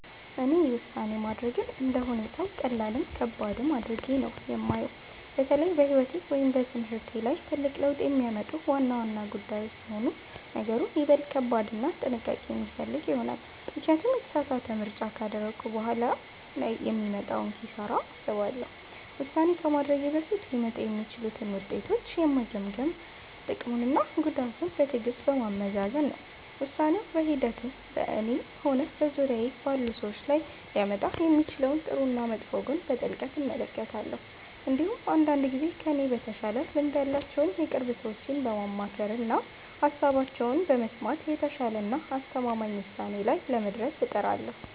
እኔ ውሳኔ ማድረግን እንደ ሁኔታው ቀላልም ከባድም አድርጌ ነው የማየው። በተለይ በሕይወቴ ወይም በትምህርቴ ላይ ትልቅ ለውጥ የሚያመጡ ዋና ዋና ጉዳዮች ሲሆኑ ነገሩ ይበልጥ ከባድና ጥንቃቄ የሚፈልግ ይሆናል፤ ምክንያቱም የተሳሳተ ምርጫ ካደረግኩ በኋላ ላይ የሚመጣውን ኪሳራ አስባለሁ። ውሳኔ ከማድረጌ በፊት ሊመጡ የሚችሉትን ውጤቶች የምገመግመው ጥቅሙንና ጉዳቱን በትዕግሥት በማመዛዘን ነው። ውሳኔው በሂደት በእኔም ሆነ በዙሪያዬ ባሉ ሰዎች ላይ ሊያመጣ የሚችለውን ጥሩና መጥፎ ጎን በጥልቀት እመለከታለሁ። እንዲሁም አንዳንድ ጊዜ ከእኔ በተሻለ ልምድ ያላቸውን የቅርብ ሰዎቼን በማማከርና ሃሳባቸውን በመስማት የተሻለና አስተማማኝ ውሳኔ ላይ ለመድረስ እጥራለሁ።